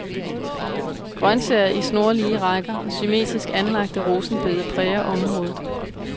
Grønsager i snorlige rækker og symmetrisk anlagte rosenbede præger området.